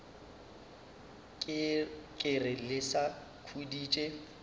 ke re le sa khuditše